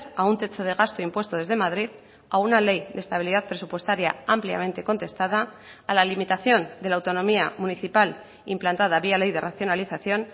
a un techo de gasto impuesto desde madrid a una ley de estabilidad presupuestaria ampliamente contestada a la limitación de la autonomía municipal implantada vía ley de racionalización